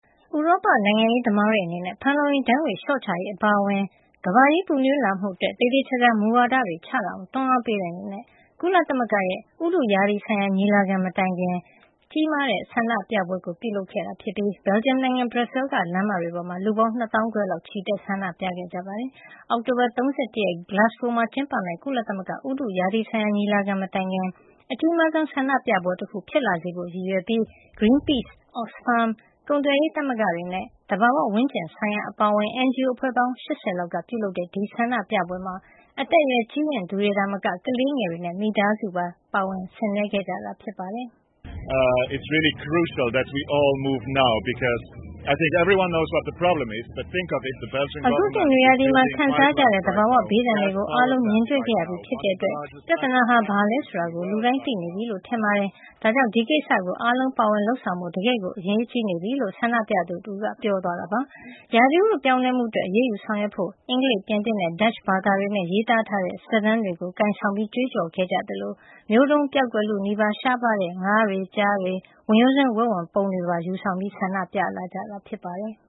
ဥရောပ နိုင်ငံရေးသမားတွေအနေနဲ့ ဖန်လုံအိမ်ဓာတ်ငွေ့ လျှော့ချရေး အပါအဝင် ကမ္ဘာကြီး ပူနွေးလာမှုအတွက် သေသေချာချာ မူဝါဒတွေ ချလာအောင် တွန်းအားပေးတဲ့ အနေနဲ့ ကုလသမဂ္ဂရဲ့ ဥတုရာသီဆိုင်ရာ COP26 ညီလာခံ မတိုင်ခင် တနင်္ဂနွေနေ့က ဘယ်လ်ဂျီယံနိုင်ငံ ဘရပ်ဆဲလ်မြို့က လမ်းတွေပေါ်မှာ လူပေါင်း ၂ သောင်းခွဲလောက် ချီတက် ဆန္ဒပြခဲ့ကြပါတယ်။ အောက်တိုဘာလ ၃၁ ရက် Glasgow မှာ ကျင်းပမယ့် ကုလသမဂ္ဂရဲ့ ဥတုရာသီဆိုင်ရာ ညီလာခံမတိုင်ခင် အကြီးမားဆုံး ဆန္ဒပြပွဲတခု ဖြစ်လာစေဖို့ ရည်ရွယ်ပြီး Greenpeace, Oxfam, ကုန်သွယ်ရေးသမဂ္ဂတွေနဲ့ သဘာဝဝန်းကျင်ဆိုင်ရာ အပါအဝင် NGO အဖွဲ့ပေါင်း ၈၀ လောက်က ပြုလုပ်တဲ့ ဒီဆန္ဒပြပွဲမှာ အသက်အရွယ် ကြီးရင့်သူတွေသာမက ကလေးငယ်တွေနဲ့အတူ မိသားစုလိုက် ပါဝင်ဆင်နွှဲကြတာ ဖြစ်ပါတယ်။ “အခုနှစ် နွေရာသီမှာ ခံစားကြရတဲ့ သဘာဝဘေးဒဏ်တွေကို အားလုံး မြင်တွေ့ခဲ့ရပြီးပြီ ဖြစ်တဲ့အတွက် ပြဿနာဟာ ဘာလဲဆိုတာကို လူတိုင်းသိနေပြီလို့ ထင်ပါတယ်။ ဒါ့ကြောင့် ဒီကိစ္စကို အားလုံးပါဝင်ပြီး လုပ်ဆောင်ကြဖို့ တကယ့်ကို အရေးကြီးနေပါပြီ။” လို့ ဆန္ဒပြသူတဦးက ပြောသွားတာပါ။ ဥတုရာသီ ပြောင်းလဲမှုအတွက် အရေးယူ ဆောင်ရွက်ကြဖို့ အင်္ဂလိပ်၊ ပြင်သစ်နဲ့ ဒတ်ချ် ဘာသာတွေနဲ့ ရေးသားထားတဲ့ စာတန်းတွေ ကိုင်ဆောင်ပြီး ကြွေးကြော်ခဲ့ကြသလို မျိုးတုန်းပျောက်ကွယ်လုနီး ရှားပါးတဲ့ ငါးတွေ၊ ကျားတွေ၊ ဝင်ရိုးစွန်းဝက်ဝံပုံတွေပါ ယူဆောင် ဆန္ဒပြခဲ့ကြတာ ဖြစ်ပါတယ်။